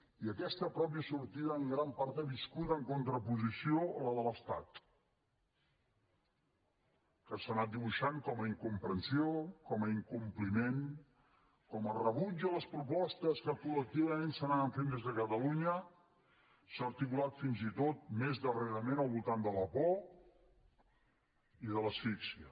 i aquesta pròpia sortida en gran part ha viscut en contraposició a la de l’estat que s’ha anat dibuixant com a incomprensió com a incompliment com a rebuig a les propostes que col·lectivament s’anaven fent des de catalunya s’ha articulat fins i tot més darrerament al voltant de la por i de l’asfíxia